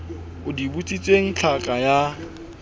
o di botsitsweng tlhaka ya